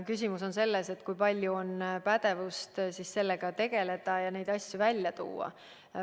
Küsimus on selles, kui palju on pädevust sellega tegeleda ja neid asju välja tuua.